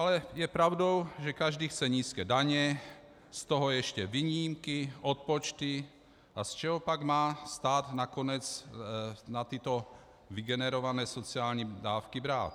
Ale je pravdou, že každý chce nízké daně, z toho ještě výjimky, odpočty, a z čeho pak má stát nakonec na tyto vygenerované sociální dávky brát?